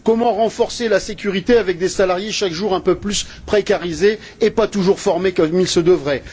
Comment renforcer la sécurité avec des salariés chaque jour un peu plus précarisés et pas toujours formés comme il se devrait?